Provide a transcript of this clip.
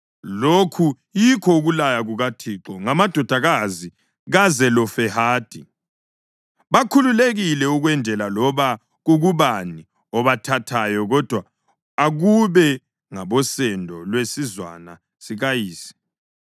Lokhu yikho ukulaya kukaThixo ngamadodakazi kaZelofehadi: Bakhululekile ukwendela loba kukubani obathathayo kodwa akube ngabosendo lwesizwana sikayise.